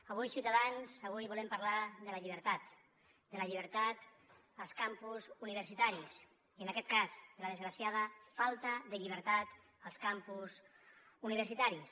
avui ciutadans avui volem parlar de la llibertat de la llibertat als campus universitaris i en aquest cas de la desgraciada falta de llibertat als campus universitaris